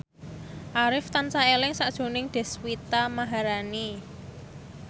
Arif tansah eling sakjroning Deswita Maharani